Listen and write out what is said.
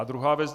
A druhá věc.